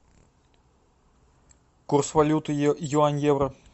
курс валюты юань евро